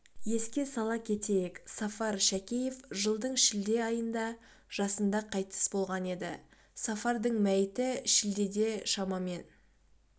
еске сала кетейік сафар шәкеев жылдың шілде айында жасында қайтыс болған еді сафардың мәйіті шілдеде шамамен